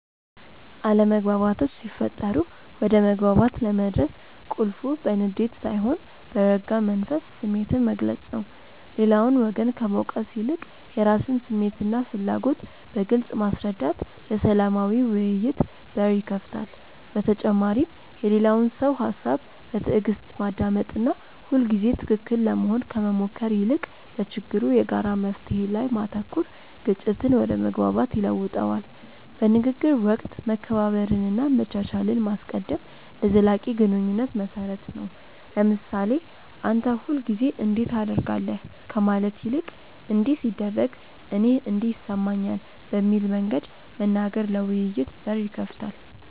አለመግባባቶች ሲፈጠሩ ወደ መግባባት ለመድረስ ቁልፉ በንዴት ሳይሆን በረጋ መንፈስ ስሜትን መግለጽ ነው። ሌላውን ወገን ከመውቀስ ይልቅ የራስን ስሜትና ፍላጎት በግልጽ ማስረዳት ለሰላማዊ ውይይት በር ይከፍታል። በተጨማሪም የሌላውን ሰው ሃሳብ በትዕግስት ማዳመጥና ሁልጊዜ ትክክል ለመሆን ከመሞከር ይልቅ ለችግሩ የጋራ መፍትሔ ላይ ማተኮር ግጭትን ወደ መግባባት ይለውጠዋል። በንግግር ወቅት መከባበርንና መቻቻልን ማስቀደም ለዘላቂ ግንኙነት መሰረት ነው። ለምሳሌ "አንተ ሁልጊዜ እንዲህ ታደርጋለህ" ከማለት ይልቅ "እንዲህ ሲደረግ እኔ እንዲህ ይሰማኛል" በሚል መንገድ መናገር ለውይይት በር ይከፍታል።